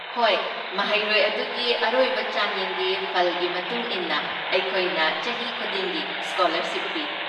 ꯍꯣꯏ, ꯃꯍꯩꯔꯣꯏ ꯑꯗꯨꯒꯤ ꯑꯔꯣꯏꯕ ꯆꯥꯡꯌꯦꯡꯒꯤ ꯐꯜꯒꯤ ꯃꯇꯨꯡ ꯏꯟꯅ ꯑꯩꯈꯣꯏꯅ ꯆꯍꯤ ꯈꯨꯗꯤꯡꯒꯤ ꯁ꯭ꯀꯣꯂꯔꯁꯤꯞ ꯄꯤ꯫